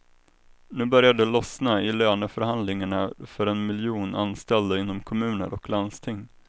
Nu börjar det lossna i löneförhandlingarna för en miljon anställda inom kommuner och landsting.